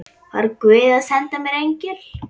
Var guð að senda mér engil?